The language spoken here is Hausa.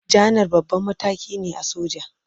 Janar babban mataki ne a soja.